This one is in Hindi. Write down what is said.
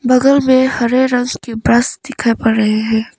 बगल में हरे रस के ब्रश दिखाई पड़ रहे है।